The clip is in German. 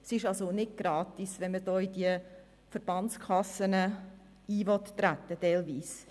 Es ist also nicht gratis, wenn man in diese Verbandskassen eintreten will.